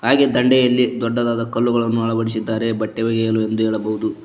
ಹಾಗೆ ದಂಡೆಯಲ್ಲಿ ದೊಡ್ಡದಾದ ಕಲ್ಲುಗಳನ್ನು ಅಳವಡಿಸಿದ್ದಾರೆ ಬಟ್ಟೆ ಒಗೆಯಲು ಎಂದು ಹೇಳಬಹುದು.